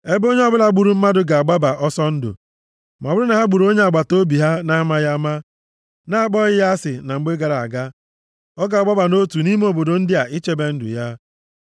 ebe onye ọbụla gburu mmadụ ga-agbaba ọsọ ndụ, ma ọ bụrụ na ha gburu onye agbataobi ha na-amaghị ama, na-akpọghị ya asị na mgbe gara aga. Ọ ga-agbaba nʼotu ime obodo ndị a ichebe ndụ ya.